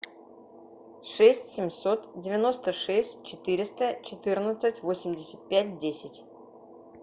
шесть семьсот девяносто шесть четыреста четырнадцать восемьдесят пять десять